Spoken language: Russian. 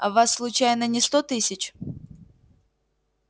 а вас случайно не сто тысяч